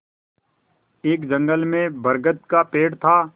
एक जंगल में बरगद का पेड़ था